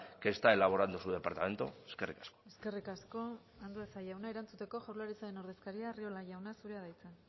que está elaborando su departamento eskerrik asko eskerrik asko andueza jauna erantzuteko jaurlaritzaren ordezkaria arriola jauna zurea da hitza